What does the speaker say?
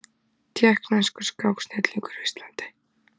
Tékkneskur skáksnillingur á Íslandi